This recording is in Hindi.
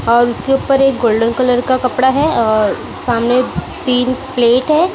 और उसके ऊपर एक गोल्डन कलर का कपड़ा है और सामने तीन प्लेट है।